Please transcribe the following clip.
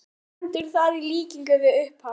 Ekkert stendur þar í líkingu við upphaf